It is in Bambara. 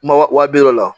Ma wa bi wɔɔrɔ la